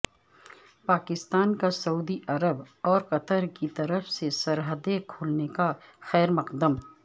پاکستان کا سعودی عرب اور قطر کی طرف سے سرحدیں کھولنے کا خیر مقدم